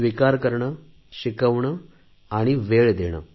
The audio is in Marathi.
स्वीकार करणे शिकवणे आणि वेळ देणे